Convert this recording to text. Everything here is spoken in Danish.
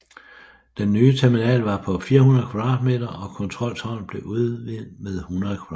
Den nye terminal var på 400 m² og kontroltårnet blev udvidet med 100 m²